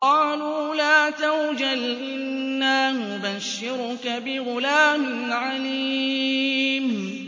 قَالُوا لَا تَوْجَلْ إِنَّا نُبَشِّرُكَ بِغُلَامٍ عَلِيمٍ